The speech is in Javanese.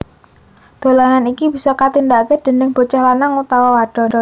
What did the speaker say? Dolanan iki bisa katindakake déning bocah lanang utawa wadon